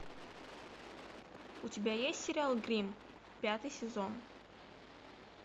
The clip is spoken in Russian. у тебя есть сериал гримм пятый сезон